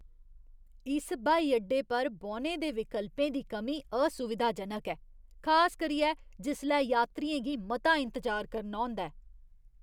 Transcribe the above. इस ब्हाई अड्डे पर बौह्ने दे विकल्पें दी कमी असुविधाजनक ऐ, खास करियै जिसलै यात्रियें गी मता इंतजार करना होंदा ऐ।